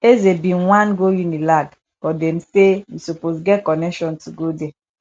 eze bin wan go unilag but dem say you suppose get connection to go there